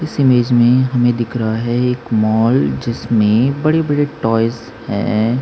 इसी इमेज में हमें दिख रखा है एक मॉल जिसमे बड़े -बड़े टॉयज है।